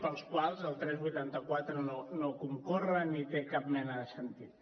pels quals el tres cents i vuitanta quatre no concorre ni té cap mena de sentit